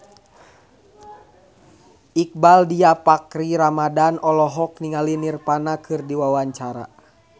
Iqbaal Dhiafakhri Ramadhan olohok ningali Nirvana keur diwawancara